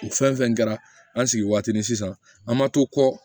O fɛn fɛn kɛra an sigi waati ni sisan an ma to kɔkɔ